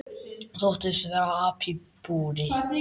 Þóttist vera api í búri.